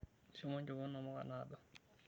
Shomo nchopo namuka naado.